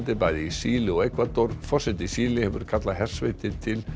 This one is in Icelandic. bæði í Síle og Ekvador forseti Síle hefur kallað til hersveitir til